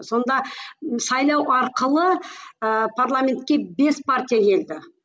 сонда сайлау арқылы ыыы парламентке бес партия енді